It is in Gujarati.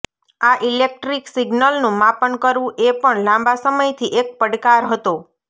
આ ઇલેક્ટ્રિક સિગ્નલનું માપન કરવું એ પણ લાંબા સમયથી એક પડકાર હતો